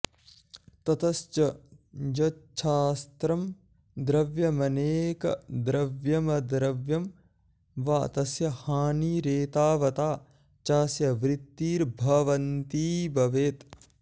ततश्च यच्छास्त्रं द्रव्यमनेकद्रव्यमद्रव्यं वा तस्य हानिरेतावता चास्य वृत्तिर्भवन्ती भवेत्